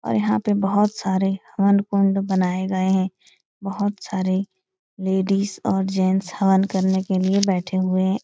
और यहाँ पर बहुत सारे हवन-कुंड बनाए गए हैं बहुत सारे लेडीज और जेंट्स हवन करने के लिए बैठे हुए हैं।